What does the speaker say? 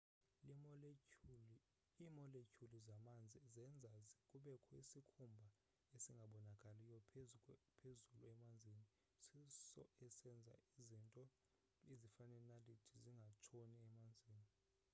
iimoletyhuli zamanzi zenza kubekho isikhumba esingabonakaliyo phezulu emanzini siso esenza izinto ezifana neenaliti zingatshoni emanzini